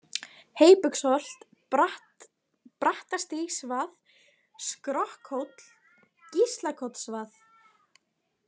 Heybugsholt, Brattastígsvað, Skrokkhóll, Gíslakotsvað